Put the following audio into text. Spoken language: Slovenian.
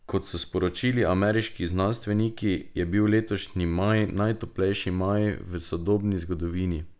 Kot so sporočili ameriški znanstveniki, je bil letošnji maj najtoplejši maj v sodobni zgodovini.